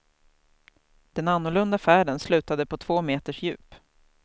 Den annorlunda färden slutade på två meters djup.